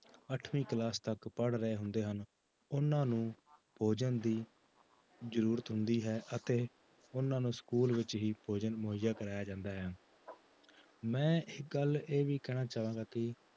ਅੱਠਵੀਂ class ਤੱਕ ਪੜ੍ਹ ਰਹੇ ਹੁੰਦੇ ਹਨ ਉਹਨਾਂ ਨੂੰ ਭੋਜਨ ਦੀ ਜ਼ਰੂਰਤ ਹੁੰਦੀ ਹੈ ਅਤੇ ਉਹਨਾਂ ਨੂੰ school ਵਿੱਚ ਹੀ ਭੋਜਨ ਮੁਹੱਈਆਂ ਕਰਵਾਇਆ ਜਾਂਦਾ ਹੈ ਮੈਂ ਇੱਕ ਗੱਲ ਇਹ ਵੀ ਕਹਿਣਾ ਚਾਹਾਂਗਾ ਕਿ